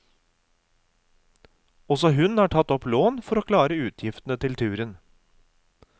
Også hun har tatt opp lån for å klare utgiftene til turen.